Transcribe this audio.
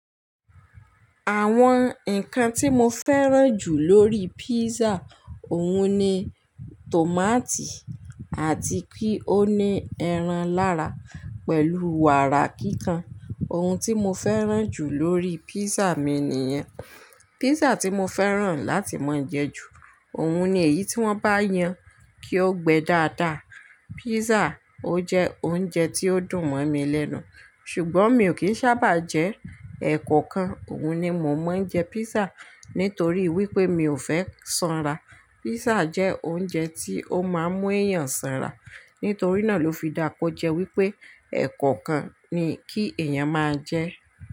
Àwọn nǹkan tí mo fẹ́ràn jù lórí pízà òun ni tòmátì àti kí ó ní ẹran lára pẹ̀lú wàrà kíkan. Ohun tí mo fẹ́ràn jù lórí pízà mi nìyẹn. Pízà tí mo fẹ́ràn láti máa jẹ jù, òun ni èyí tí wọ́n bá yan kí ó gbẹ́ dáadáa. Pízà ó jẹ́ oúnjẹ tí ó dùn mọ́ mi lẹ́nu, ṣùgbọ́n mi ò kí ń ṣábà jẹ ẹ̀kọ̀kan, Òun ni mo máa ń jẹ pízà nítorí wípé mi ò fẹ́ sanra. Pízà jẹ́ oúnjẹ tí ó máa ń mú èèyàn sanra, nítorí náà ló fi daa kọ́ jẹ wípé ẹ̀kọ̀kan ni kí èèyàn máa jẹ.